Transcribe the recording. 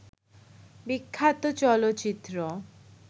বিখ্যাত চলচ্চিত্র